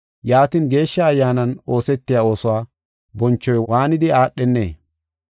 yaatin, Geeshsha Ayyaanan oosetiya oosuwa bonchoy waanidi aadhenee?